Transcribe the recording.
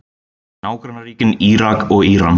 Nágrannaríkin Írak og Íran.